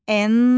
N.